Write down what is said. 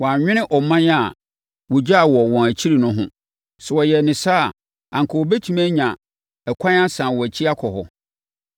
Wɔannwene ɔman a wɔgyaa wɔ wɔn akyire no ho. Sɛ wɔyɛɛ no saa a, anka wɔbɛtumi anya ɛkwan asane wɔn akyi akɔ hɔ.